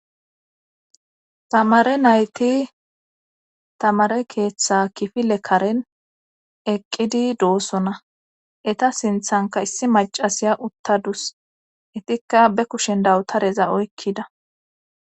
Tamare nayti tamare keeththa kifile karen eqqidi doossona eta sinthanka issi macasiya uttadus etikka be kushen dawutareza oykkida.